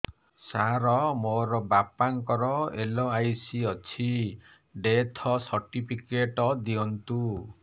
ସାର ମୋର ବାପା ଙ୍କର ଏଲ.ଆଇ.ସି ଅଛି ଡେଥ ସର୍ଟିଫିକେଟ ଦିଅନ୍ତୁ